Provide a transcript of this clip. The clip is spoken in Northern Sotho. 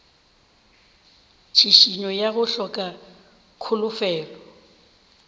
tšhišinyo ya go hloka kholofelo